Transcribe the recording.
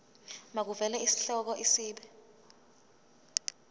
makuvele isihloko isib